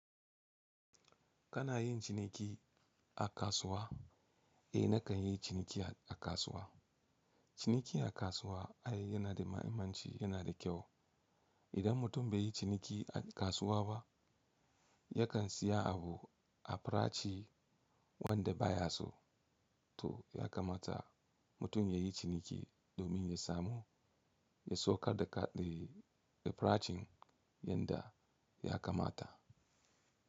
Kana yin ciniki a kasuwa? Eh nakan yi ciniki a kasuwa. Ciniki a kasuwa ai yana da mahimmanci yana da kyau. Idan mutum bai yi ciniki a kasuwa ba yakan siya abu a farashi wanda baya so. To ya kamata mutum ya yi ciniki domin ya samu ya saukar da kade da farashin yadda ya kamata.